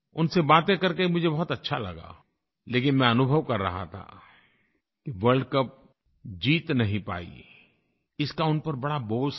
उनसे बातें करके मुझे बहुत अच्छा लगा लेकिन मैं अनुभव कर रहा था कि वर्ल्ड कप जीत नहीं पाईं इसका उन पर बड़ा बोझ था